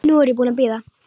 Nú er ég búin að bíða.